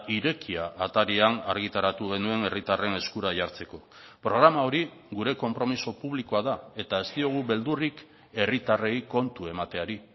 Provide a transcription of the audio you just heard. irekia atarian argitaratu genuen herritarren eskura jartzeko programa hori gure konpromiso publikoa da eta ez diogu beldurrik herritarrei kontu emateari